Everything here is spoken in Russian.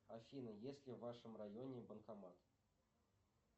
афина есть ли в вашем районе банкомат